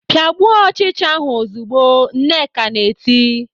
"Pịagbuo ọchịcha ahụ ozugbo!" Nneka na-eti.